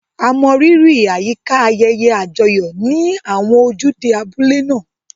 A mọrírì àyíká ayẹyẹ àjọyọ̀ ní àwọn ojúde abúlé náà.